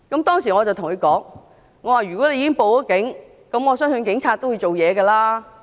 當時我對他說，如果他已經報警，我相信警察會處理。